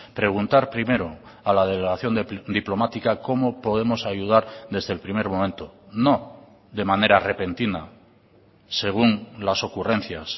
preguntar primero a la delegación diplomática cómo podemos ayudar desde el primer momento no de manera repentina según las ocurrencias